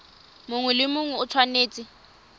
mongwe le mongwe o tshwanetse